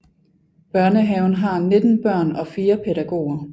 Børnehaven har 19 børn og 4 pædagoger